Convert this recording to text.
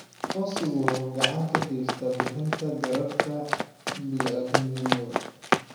Aqoonsigu waxa uu gacan ka geystaa bixinta gargaarka bini'aadantinimo.